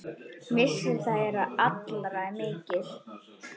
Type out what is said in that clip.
Missir þeirra allra er mikill.